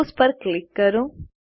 close પર click કરો